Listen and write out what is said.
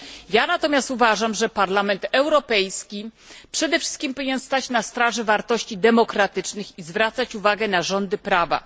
Ja natomiast uważam, że Parlament Europejski przede wszystkim powinien stać na straży wartości demokratycznych i zwracać uwagę na rządy prawa.